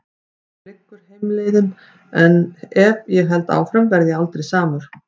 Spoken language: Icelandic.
Að baki mér liggur heimleiðin- en ef ég held áfram verð ég aldrei samur.